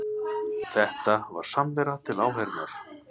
Þetta var samvera til áheyrnar